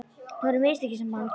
Það voru mistökin sem hann gerði.